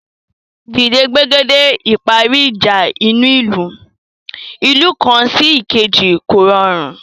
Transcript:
Dídé gbègede ìparí ìjà inú ìlú/ ìlú kan sí èkejì kò rọrùn